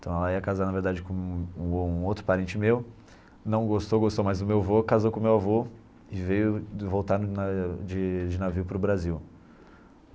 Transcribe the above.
Então ela ia casar na verdade com um um outro parente meu, não gostou, gostou mais do meu avô, casou com o meu avô e veio de voltar na de de navio para o Brasil.